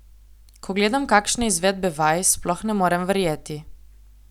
Ko gledam kakšne izvedbe vaj, sploh ne morem verjeti.